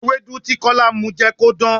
Ewédú tí Kọ́lá mu jẹ́ kó dán.